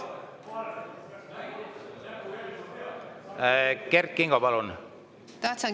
Kert Kingo, palun!